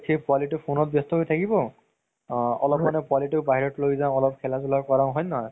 সেই পোৱালিতো phone ত ব্যস্ত হয় থাকিব অ অলপমানে পোৱালিতো বাহিৰত লয় যাও অলপ খেলা ধুলা কৰাও হয় নে নহয়